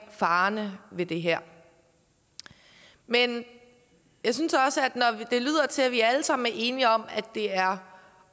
farerne ved det her men jeg synes også at til at vi alle sammen er enige om at det er